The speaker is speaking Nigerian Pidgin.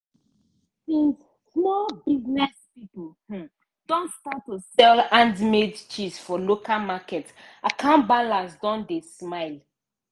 since small business pipo um don start to sell handmade cheese for local market account balance don dey smile.